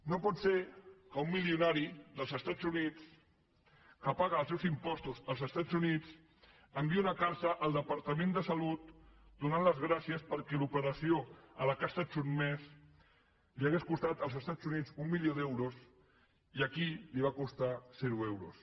no pot ser que un milionari dels estats units que paga els seus impostos als estats units enviï una carta al departament de salut donant les gràcies perquè l’operació a la qual ha estat sotmès li hauria costat als estats units un milió d’euros i aquí li va costar zero euros